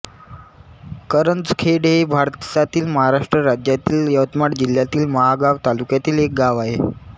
करंजखेड हे भारतातील महाराष्ट्र राज्यातील यवतमाळ जिल्ह्यातील महागांव तालुक्यातील एक गाव आहे